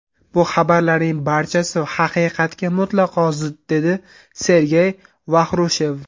Bu xabarlarning barchasi haqiqatga mutlaqo zid”, dedi Sergey Vaxrushev.